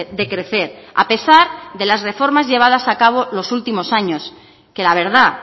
de crecer a pesar de las reformas llevadas a cabo los últimos años que la verdad